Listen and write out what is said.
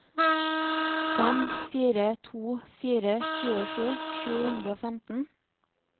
fem fire to fire tjuesju sju hundre og femten